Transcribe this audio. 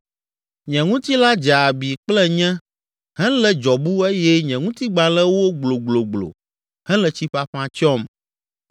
Nye ŋutilã dze abi kple nyẽ helé dzɔbu eye nye ŋutigbalẽ wó gblogblogblo hele tsi ƒaƒã tsyɔm.